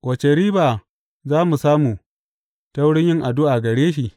Wace riba za mu samu ta wurin yin addu’a gare shi?